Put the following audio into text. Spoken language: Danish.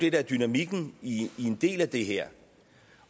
er dynamikken i en del af det her